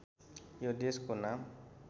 यो देशको नाम